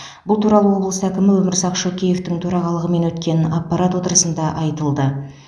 бұл туралы облыс әкімі өмірзақ шөкеевтің төрағалығымен өткен аппарат отырысында айтылды